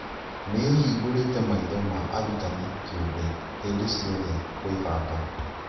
Nĩĩhingũrĩte maitho ma arutani kĩũmbe hĩndĩ ciothe kwĩbanga